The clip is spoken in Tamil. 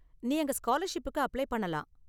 நீ அங்க ஸ்காலர்ஷிப்புக்கு அப்ளை பண்ணலாம்.